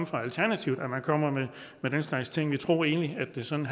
fra alternativet at man kommer med den slags ting jeg troede egentlig at det sådan